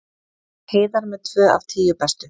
Heiðar með tvö af tíu bestu